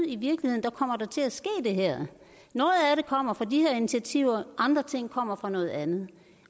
i virkeligheden kommer der til at ske det her noget af det kommer fra de her initiativer andre ting kommer fra noget andet